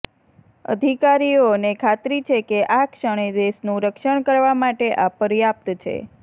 અધિકારીઓને ખાતરી છે કે આ ક્ષણે દેશનું રક્ષણ કરવા માટે આ પર્યાપ્ત છે